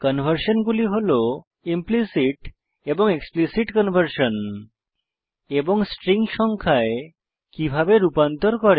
conversion গুলি হল implicit এবং এক্সপ্লিসিট কনভার্সন এবং স্ট্রিং সংখ্যায় কিভাবে রূপান্তর করে